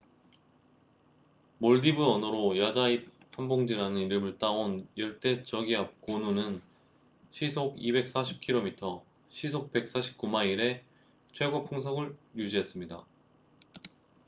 몰디브 언어로 '야자 잎 한 봉지'라는 이름을 따온 열대 저기압 고누gonu는 시속 240km시속 149마일의 최고 풍속을 유지했습니다